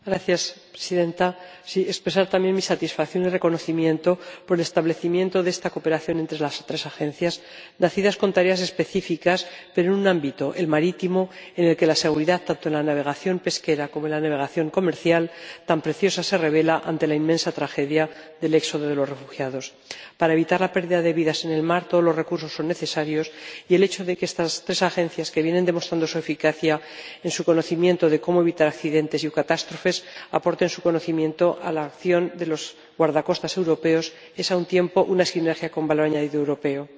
Señora Presidenta, deseo expresar también mi satisfacción y reconocimiento por el establecimiento de esta cooperación entre las tres Agencias, nacidas con tareas específicas pero en un ámbito, el marítimo, en el que la seguridad, tanto en la navegación pesquera como en la navegación comercial, tan preciosa se revela ante la inmensa tragedia del éxodo de los refugiados. Para evitar la pérdida de vidas en el mar todos los recursos son necesarios y el hecho de que estas tres Agencias, que vienen demostrando su eficacia en su conocimiento de cómo evitar accidentes y catástrofes, aporten su conocimiento a la acción de los guardacostas europeos es, a un tiempo, una sinergia con valor añadido europeo.